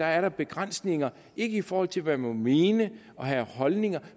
er der begrænsninger ikke i forhold til hvad man må mene og have af holdninger